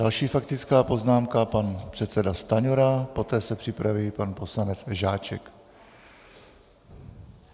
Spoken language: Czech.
Další faktická poznámka - pan předseda Stanjura, poté se připraví pan poslanec Žáček.